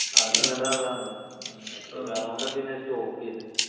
ആദ്യം വേണ്ടത് അതാണല്ലോ. അത് കാരണം കൊണ്ടാണ് ഞാൻ പിന്നെ സ്റ്റോപ്പ് ചെയ്തത്.